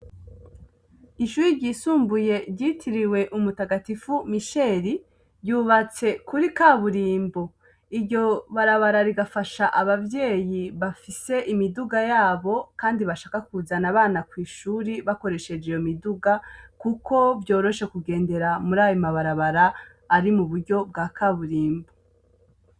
Ishuri ryisumbuye ryitiriwe umutagatifu misheli ryubatse kuri ka burimbo iryo barabara rigafasha abavyeyi bafise imiduga yabo, kandi bashaka kuzana abana kw'ishuri bakoresheje iyo miduga, kuko vyoroshe kugendera muri ayo mabarabara ari mu buryo bwa kaburimbo.